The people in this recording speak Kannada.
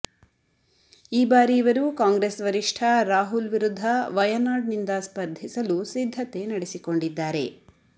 ಈ ಬಾರಿ ಇವರು ಕಾಂಗ್ರೆಸ್ ವರಿಷ್ಠ ರಾಹುಲ್ ವಿರುದ್ಧ ವಯನಾಡ್ ನಿಂದ ಸ್ಪರ್ಧಿಸಲು ಸಿದ್ಧತೆ ನಡೆಸಿಕೊಂಡಿದ್ದಾರೆ